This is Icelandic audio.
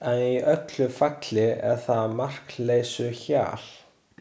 En í öllu falli er það markleysuhjal.